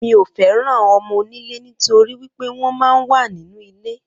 Mi o feran õmō-ònilé nítorí wípé wón man wa nínu ilé